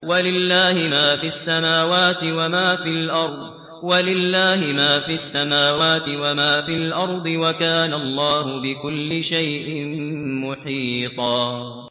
وَلِلَّهِ مَا فِي السَّمَاوَاتِ وَمَا فِي الْأَرْضِ ۚ وَكَانَ اللَّهُ بِكُلِّ شَيْءٍ مُّحِيطًا